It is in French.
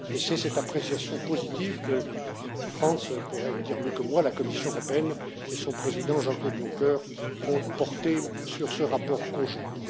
C'est cette appréciation positive que Frans Timmermans pourrait le dire mieux que moi la Commission européenne et son président, Jean Claude Juncker, ont portée sur ce rapport conjoint.